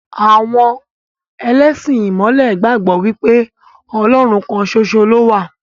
Àwọn ẹlẹ́sìn ìmọ̀le gbàgbọ́ wípé Ọlọ́run kan ṣoṣo lowa.